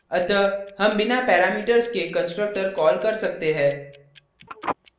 अतः हम बिना parameters के constructor कॉल कर सकते है